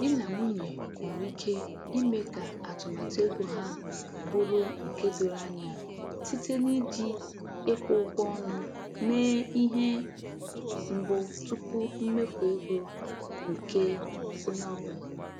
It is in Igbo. Di na nwunye nwere ike ime ka atụmatụ ego ha bụrụ nke doro anya site n’iji ịkwụ ụgwọ ọnụ mee ihe mbụ tupu mmefu ego nke onye ọ bụla.